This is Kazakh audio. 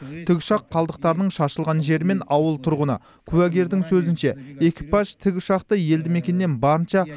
тікұшақ қалдықтарының шашылған жері мен ауыл тұрғыны куәгердің сөзінше экипаж тікұшақты елді мекеннен барынша